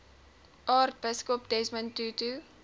aartsbiskop desmond tutu